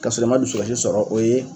Ka sɔrɔ i ma dusukasi sɔrɔ o ye